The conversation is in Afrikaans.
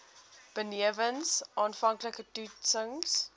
benewens aanvanklike toetsings